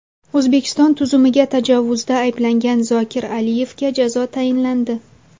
O‘zbekiston tuzumiga tajovuzda ayblangan Zokir Aliyevga jazo tayinlandi.